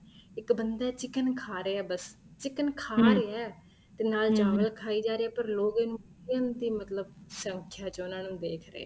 ਇੱਕ ਬੰਦਾ ਏ chicken ਖਾ ਰਹਿਆ ਏ ਬੱਸ chicken ਖਾ ਰਹਿਆ ਏ ਤੇ ਨਾਲ ਚਾਵਲ ਖਾਈ ਜਾ ਰਹਿਆ ਏ ਪਰ ਲੋਕ ਇਹਨੂੰ ਤਿੰਨ ਤਿੰਨ ਮਤਲਬ ਸੰਖਿਆ ਚ ਉਹਨਾ ਨੂੰ ਦੇਖ ਰਹੇ ਏ